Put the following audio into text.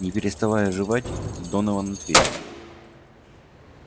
не переставая жевать донован ответил